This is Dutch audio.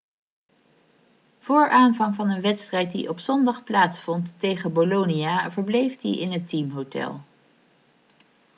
voor aanvang van een wedstrijd die op zondag plaatsvond tegen bolonia verbleef hij in het teamhotel